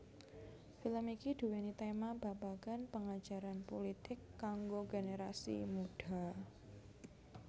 Film iki duwéni tema babagan pengajaran pulitik kanggo generasi mudha